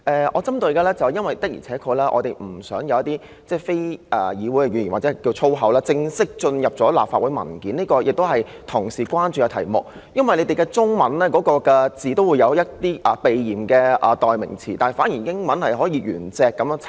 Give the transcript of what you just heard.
"我要特別指出的是，我們確實不想有一些非議會語言或所謂粗口正式進入立法會文件，這亦是同事關注的事宜，因為文件中的中文用語也有一些避嫌的代用詞，反而英文卻可以按原字輯錄。